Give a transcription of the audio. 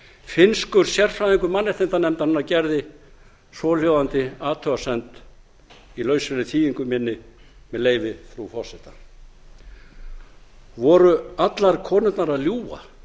finnskur sérfræðingur mannréttindanefndarinnar gerði svohljóðandi athugasemd í lauslegri þýðingu minni með leyfi frú forseta voru allar konurnar að ljúga